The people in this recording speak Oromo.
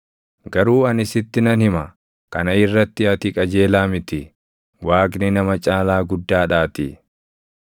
“Garuu ani sitti nan hima; kana irratti ati qajeelaa miti; Waaqni nama caalaa guddaadhaatii.